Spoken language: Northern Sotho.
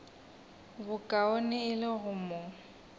bokaone e le go mo